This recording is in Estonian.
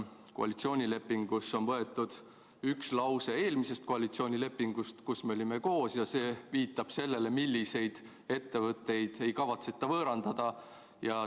Koalitsioonilepingusse on võetud üks lause eelmisest koalitsioonilepingust, kus me olime koos, ja see viitab sellele, milliseid ettevõtteid ei kavatseta võõrandada.